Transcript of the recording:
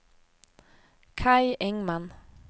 Kaj Engman